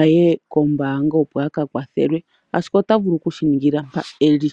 a ye kombaanga, opo a ka kwathelwe ashike ota vulu oku shi ningila mpoka eli.